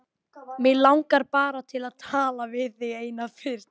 Mig langar bara til að tala við þig eina fyrst.